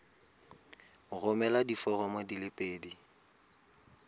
romela diforomo di le pedi